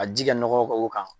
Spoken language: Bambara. A ji kɛ nɔgɔ ka o kan.